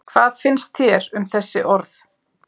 Hvað finnst þér um þessi orð?